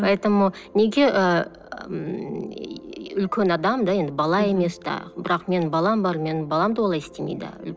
поэтому неге ыыы ммм үлкен адам да енді бала емес те бірақ менің балам бар менің балам да олай істемейді